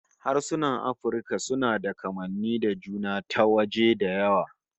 Harsunan Afirka suna da kamanni da juna ta waje da yawa